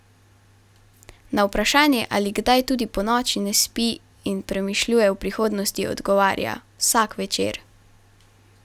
Na vprašanje, ali kdaj tudi ponoči ne spi in premišljuje o prihodnosti, odgovarja: "Vsak večer.